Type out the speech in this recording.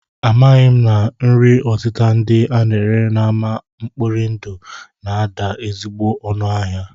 Amaghị m na nri ọtịta ndị a na-ere n'ámá mkpori ndụ na-ada ezigbo ọnụ ahịa